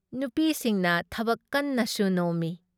ꯅꯨꯄꯤꯁꯤꯡꯅ ꯊꯕꯛ ꯀꯟꯅ ꯁꯨ ꯅꯣꯝꯃꯤ ꯫